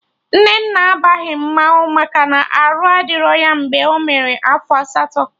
Nnanna abaghị mmanwụ maka na arụ adịrọ ya mgbe ọ mere afọ asatọ